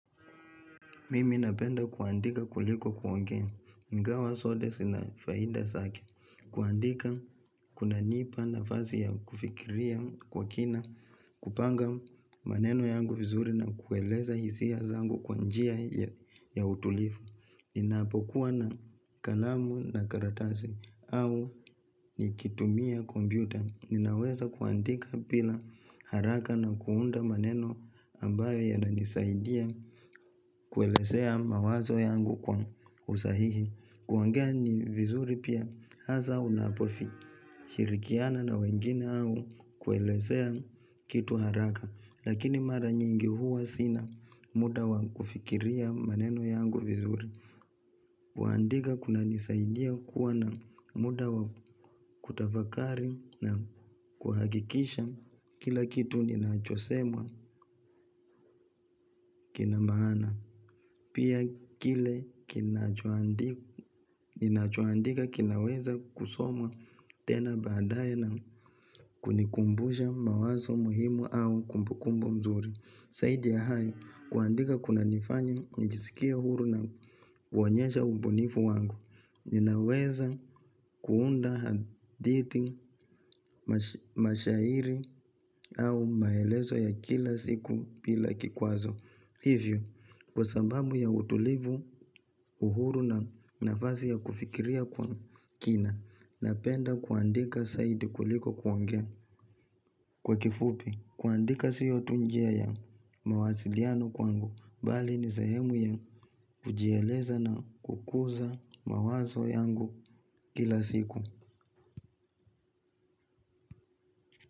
Mimi napenda kuandika kuliko kuongea. Ingawa zote zina faida zake. Kuandika kunanipa nafasi ya kufikiria kwa kina. Kupanga maneno yangu vizuri na kueleza hisia zangu kwanjia ya utulifu. Ninapokuwa na kalamu na karatasi. Au nikitumia kompyuta. Ninaweza kuandika bila haraka na kuunda maneno ambayo yananisaidia. Kuelezea mawazo yangu kwa usahihi kuongea ni vizuri pia hasa unapofikiria kushirikiana na wengine au kuelezea kitu haraka lakini mara nyingi huwa sina muda wakufikiria maneno yangu vizuri. Kuandika kunanisaidia kuwa na muda wa kutafakari na kuhakikisha kila kitu ninachosemwa kinamaana. Pia kile kinachoandika kinaweza kusomwa tena baadaye na kunikumbusha mawazo muhimu au kumbukumbu nzuri. Zaidi ya hayo, kuandika kunanifanya nijisikie huru na kuonyesha ubunifu wangu. Ninaweza kuunda hadithi, mashairi au maelezo ya kila siku bila kikwazo. Hivyo, kwasababu ya utulivu, uhuru na nafasi ya kufikiria kwa kina, napenda kuandika zaidi kuliko kuongea. Kwa kifupi, kuandika siyo tu njia ya mawasiliano kwangu bali ni sahemu ya kujieleza na kukuza mawazo yangu kila siku.